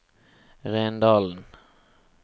Rendalen